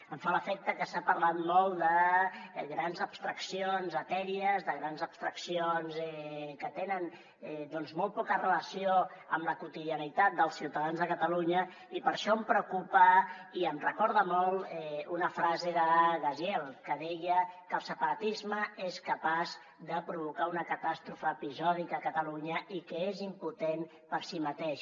em fa l’efecte que s’ha parlat molt de grans abstraccions etèries de grans abstraccions que tenen doncs molt poca relació amb la quotidianitat dels ciutadans de catalunya i per això em preocupa i em recorda molt una frase de gaziel que deia que el separatisme és capaç de provocar una catàstrofe episòdica a catalunya i que és impotent per si mateix